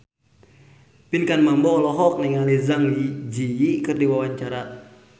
Pinkan Mambo olohok ningali Zang Zi Yi keur diwawancara